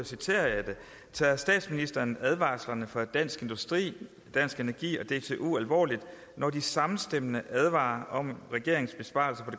citerer jeg det tager statsministeren advarslerne fra dansk industri dansk energi og dtu alvorligt når de samstemmende advarer om at regeringens besparelser